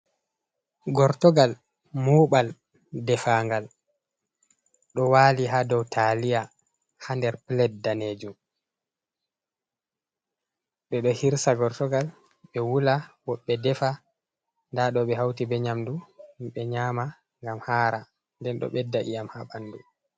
Gortogal muɓal defaangal ɗo waali haa dow taliya haa nder plet danejum. Ɓe ɗo hirsa gortogal, ɓe wula, woɓɓe defa. Nda ɗo ɓe hauti be nyamdu, himɓe nyama ngam haara. Nden ɗo ɓedda iyam haa ɓandu.